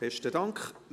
Besten Dank.